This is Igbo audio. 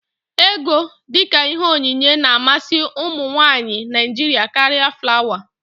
Égo, dịka ihe onyinye na-amasị ụmụnwaanyị Naịjiria karịa flawa.